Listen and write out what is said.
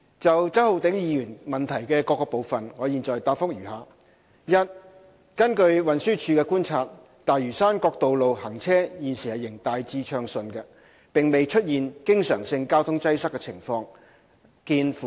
就周浩鼎議員質詢的各個部分，我現答覆如下：一根據運輸署的觀察，大嶼山各道路行車現時仍大致暢順，並未出現經常性交通擠塞的情況。